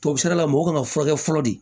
Tubabufeerela mɔgɔw kan ka furakɛ fɔlɔ de